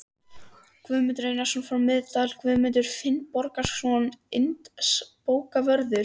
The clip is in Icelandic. Guðmundur Einarsson frá Miðdal, Guðmundur Finnbogason landsbókavörður